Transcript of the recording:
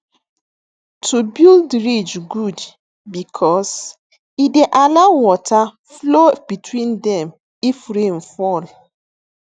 to build ridge good because e dey allow water flow between them if rain fall